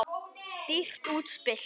Dýrt útspil.